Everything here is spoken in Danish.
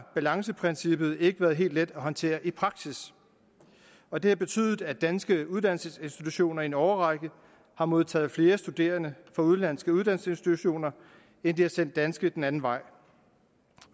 balanceprincippet ikke været helt let at håndtere i praksis og det har betydet at danske uddannelsesinstitutioner i en årrække har modtaget flere studerende fra udenlandske uddannelsesinstitutioner end de har sendt danske den anden vej